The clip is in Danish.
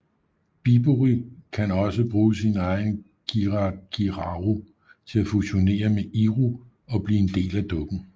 Bibury kan også bruge sin egen kirakiraru til at fusionere med Iru og blive en del af dukken